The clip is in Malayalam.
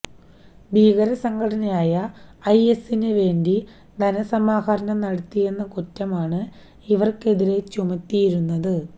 ഭീകരസംഘടനയായ ഐഎസിന് വേണ്ടി ധനസമാഹരണം നടത്തിയെന്ന കുറ്റമാണ് ഇവര്ക്കെതിരെ ചുമത്തിയിരുന്നത്